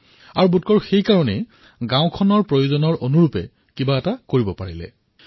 এই কাৰণতেই তেওঁ গাঁৱক যি ধৰণে আৱশ্যক সেই ধৰণে নিৰ্মাণ কৰিব পাৰিলে